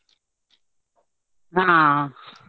ಹಾ.